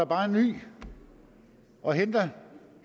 bare en ny og henter